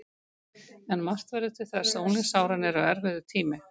En margt verður til þess að unglingsárin eru erfiður tími.